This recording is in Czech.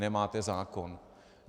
Nemáte zákon!